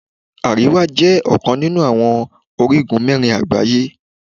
Àríwá jẹ́ ọ̀kan nínú àwọn orígun mẹ́rin àgbáyé.